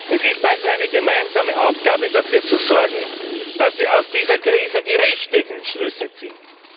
Es ist also eine gemeinsame Aufgabe, dafür zu sorgen, dass wir aus dieser Krise die richtigen Schlüsse ziehen.